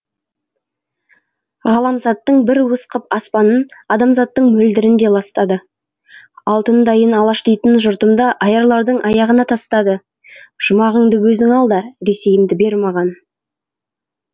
ғаламзаттың бір уыс қып аспанын адамзаттың мөлдірін де ластады алтындайын алаш дейтін жұртымды аярлардың аяғына тастады жұмағыңды өзің ал да ресейімді бер маған